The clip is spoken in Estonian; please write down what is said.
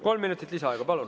Kolm minutit lisaaega, palun.